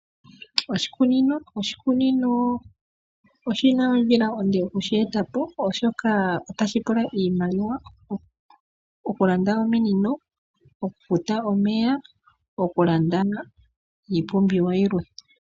Oshikunino oshina ondjila onde okushi eta po oshoka otashi pula iimaliwa okulanda ominino, okufuta omeya oshowo okulanda iipumbiwa yimwe.